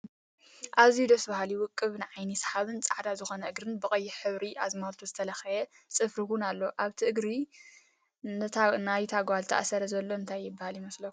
ኣዝዩ ደስ ብሃሊ ውቅብ ንዓይኒ ስሓቢን ፃዕዳ ዝኮነ እግርን ብቀይሕ ሕብሪ ኣዝማልቶ ዝተለከየ ፅፊር እውን ኣሎ። ኣብቲ እግሪ ናይታ ጎል ተኣሲሩ ዘሎ እንታይ ይብሃል ይመስለኩም?